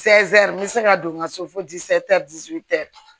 n bɛ se ka don n ka so